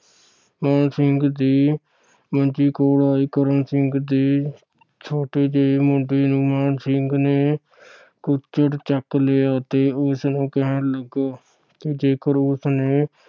ਮਾਣ ਸਿੰਘ ਦੀ ਮੰਜੀ ਕੋਲ ਆਏ ਕਰਮ ਸਿੰਘ ਦੇ ਛੋਟੇ ਜੇ ਮੁੰਡੇ ਨੂੰ ਮਾਣ ਸਿੰਘ ਨੇ ਕੁੱਛੜ ਚੱਕ ਲਿਆ ਤੇ ਉਸਨੂੰ ਕਹਿਣ ਲੱਗਾ ਕਿ ਜੇਕਰ ਉਸਨੇ